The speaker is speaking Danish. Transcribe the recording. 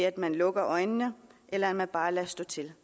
at man lukker øjnene eller eller bare lader stå til